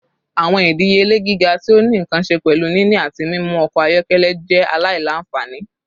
Awọn idiyele giga ti o ni nkan ṣe pẹlu nini ati mimu ọkọ ayọkẹlẹ kan jẹ alailanfani